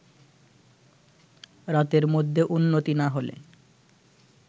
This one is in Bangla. রাতের মধ্যে উন্নতি না হলে